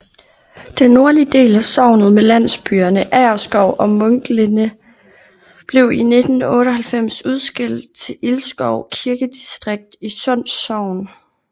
Den nordlige del af sognet med landsbyerne Agerskov og Munklinde blev i 1898 udskilt til Ilskov kirkedistrikt i Sunds Sogn